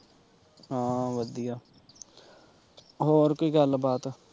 ਹਾਂ ਵਧੀਆ ਹੋਰ ਕੋਈ ਗੱਲ ਬਾਤ